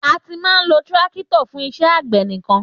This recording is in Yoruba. Àtí mà ló Tírákítọ̀ fún ìsẹ àgbẹ níkàn